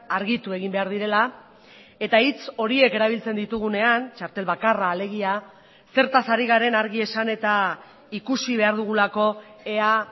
argitu egin behar direla eta hitz horiek erabiltzen ditugunean txartel bakarra alegia zertaz ari garen argi esan eta ikusi behar dugulako ea